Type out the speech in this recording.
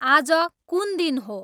आज कुुन दिन हो